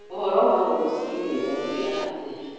Ũhoro wa rũciinĩ, wokira atĩa